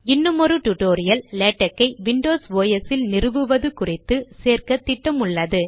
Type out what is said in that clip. இன்னுமொரு டுடோரியல்லேடக் ஐ விண்டோஸ் ஓஎஸ் இல் நிறுவுவது குறித்து சேர்க்க திட்டமுள்ளது